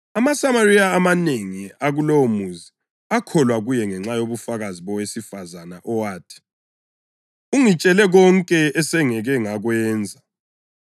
AmaSamariya amanengi akulowomuzi akholwa kuye ngenxa yobufakazi bowesifazane owathi, “Ungitshele konke esengake ngakwenza.”